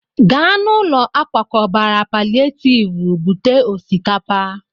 Gaa n'ụlọ akwakọbara palịetivu bute osikapa!